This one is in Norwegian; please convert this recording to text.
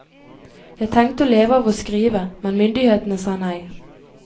Jeg tenkte å leve av å skrive, men myndighetene sa nei.